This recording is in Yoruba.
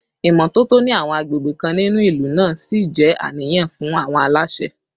Ìmọ́tótó ní àwọn àgbègbè kan nínú ìlú náà ṣì jẹ́ àníyàn fún àwọn aláṣẹ